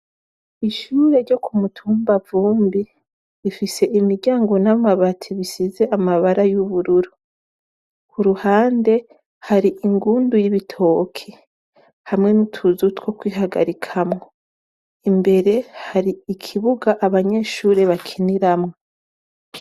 Ishure ryo ku mutumba Vumbi ifise imiryango n'amabati bisize amabara y'ubururu, ku ruhande hari ingundu y'ibitoki hamwe n'utuzu two kwihagarikamwo, imbere hari ikibuga abanyeshure bakiniramwo.